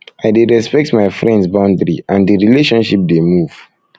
i dey respect my friends boundary and di relationship dey move